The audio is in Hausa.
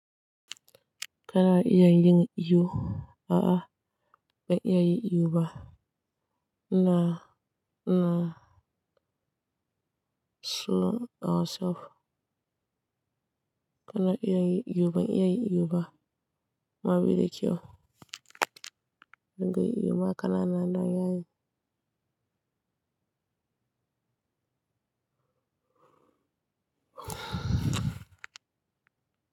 Kana iya yin iyo? A'a, ban iya yi iyo ba. Na, na slow myself. Kana iya yin iyo? Ban iya yi iyo ba. Ma bi da kyau. Ban ga iyo ma, kana nan don ya yi.